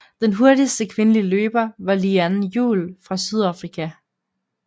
Den hurtigste kvindelige løber var Leanne Juul fra Sydafrika